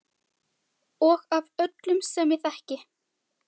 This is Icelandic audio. Og af öllum sem ég þekki.